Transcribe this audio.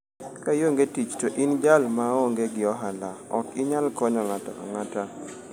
"Ka ionge tich to in jal ma onge gi ohala, ok inyal konyo ng'ato ang'ata.